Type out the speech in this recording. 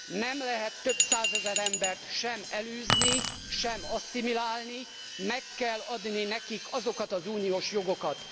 Nem lehet több százezer embert sem elűzni, sem asszimilálni, meg kell adni nekik az uniós jogokat.